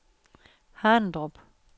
Harndrup